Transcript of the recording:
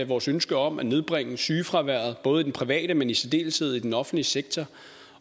vores ønske om at nedbringe sygefraværet både i den private men i særdeleshed i den offentlige sektor